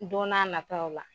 Don n'a nataw la